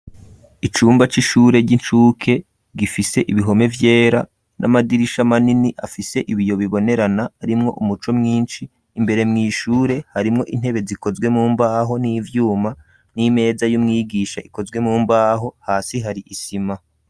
Icumba c'ishure ry'incuke gifise ibihome vyera n'amadirisha manini afise ibiyo bibonerana arimwo umuco mwinshi imbere mw'ishure harimwo intebe zikozwe mumbaho n'ivyuma n'imeza y'umwigisha ikozwe mumbaho hasi hari isima.